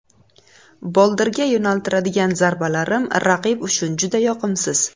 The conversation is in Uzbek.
Boldirga yo‘naltiradigan zarbalarim raqib uchun juda yoqimsiz.